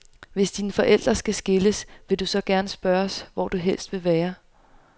Hvis dine forældre skal skilles, vil du så gerne spørges, hvor du helst vil være?